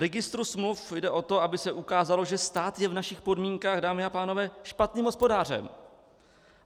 Registru smluv jde o to, aby se ukázalo, že stát je v našich podmínkách, dámy a pánové, špatným hospodářem.